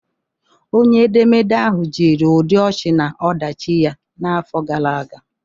Onye edemede ahụ jiri ụdị ochi na ọdachi ya n'afọ gara aga